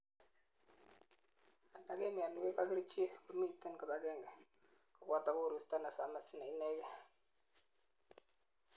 alak en mionwek ak kerichek komiten kibagengei koboto koristo nesamis neinegei